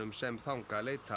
sem þangað leita